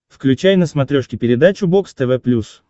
включай на смотрешке передачу бокс тв плюс